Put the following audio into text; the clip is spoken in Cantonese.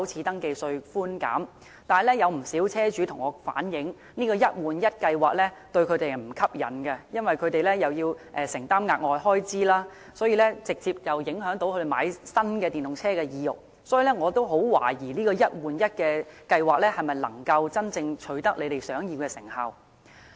但是，有不少車主向我反映，這個"一換一"計劃並不吸引，因為他們要承擔額外開支，所以直接影響他們購買新電動車的意欲，我亦十分懷疑"一換一"計劃能否真正取得政府想要的成效。